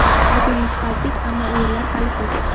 Bugun yutqazdik, ammo o‘yinlar hali ko‘p.